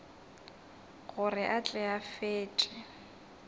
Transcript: gore a tle a fetše